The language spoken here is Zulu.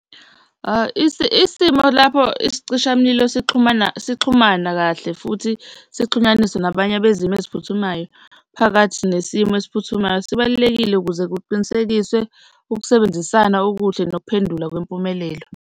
Isimo lapho isicishamlilo sixhumana, sixhumana kahle futhi sixhumaniswe nabanye abezimo eziphuthumayo phakathi nesimo esiphuthumayo sibalulekile ukuze kuqinisekiswe ukusebenzisana okuhle nokuphendula kwempumelelo.